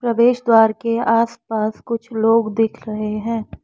प्रवेश द्वारा के आस पास कुछ लोग दिख रहे हैं।